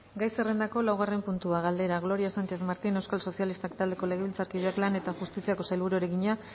gai zerrendako laugarren puntua galdera gloria sánchez martín euskal sozialistak taldeko legebiltzarkideak lan eta justiziako sailburuari egina